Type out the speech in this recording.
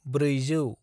ब्रैजौ